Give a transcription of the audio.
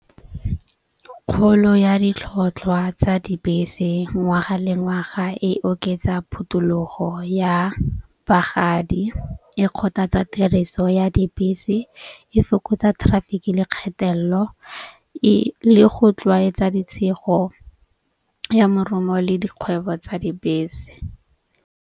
Kgolo ya ditlhotlhwa tsa dibese ngwaga le ngwaga e oketsa phutulogo ya bagadi. E kgothatsa tiriso ya dibese. E fokotsa traffic le kgatelelo e le go tlwaetsa ditshego ya morumo le dikgwebo tsa dibese.